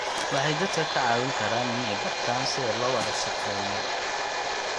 Waxay dadka ka caawin karaan inay bartaan sida loo wada shaqeeyo.